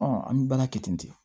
an bɛ baara kɛ ten de